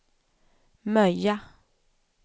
Möja